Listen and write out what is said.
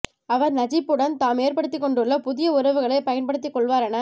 அவர் நஜிப்புடன் தாம் ஏற்படுத்திக் கொண்டுள்ள புதிய உறவுகளைப் பயன்படுத்திக் கொள்வார் என